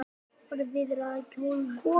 Hvernig viðrar á kjördag?